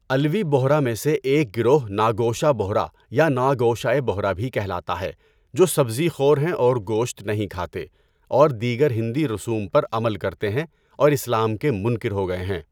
علوی بوہرہ میں سے ایک گروہ ناگوشہ بوہرہ یا ناگوشئہ بوہرہ بھی کہلاتا ہے جو سبزی خور ہیں اور گوشت نہیں کھاتے اور دیگر ہندی رسوم پر عمل کرتے ہیں اور اسلام کے منکر ہو گئے ہیں۔